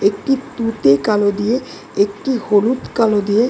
একটি তুতে কালো দিয়ে একটি হলুদ কালো দিয়ে।